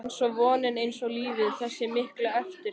einsog vonin, einsog lífið- þessi mikla eftirsjá.